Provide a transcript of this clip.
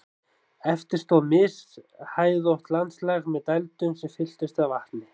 Eftir stóð mishæðótt landslag með dældum sem fylltust af vatni.